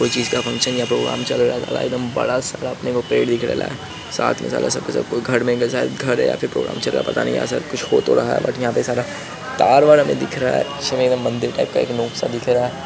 कोई चीज का फंक्शन या प्रोग्राम चल ले रहा है एक दम बड़ा सारा पेड़ दिख ले रहा है साथ में साला सब का सब घर में या शायद घर में घर या प्रोग्राम चल ले रहा है पता नहीं या शायद यहाँ कुछ हो तो रहा है बट यहाँ पे सारा तार -वार हमें दिख रहा है। इसमें एक मंदिर टाइप का दिख रहा है|